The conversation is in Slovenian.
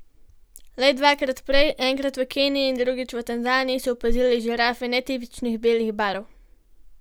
Le dvakrat prej, enkrat v Keniji in drugič v Tanzaniji, so opazili žirafe netipičnih, belih barv.